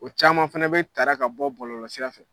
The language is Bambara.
O caman fɛnɛ bɛ taara ka bɔ bɔlɔlɔ sira fɛ.